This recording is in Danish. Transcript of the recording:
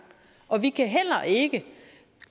og vi kan heller ikke